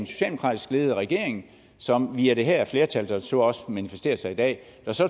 socialdemokratisk ledede regering som via det her flertal der så også manifesterer sig i dag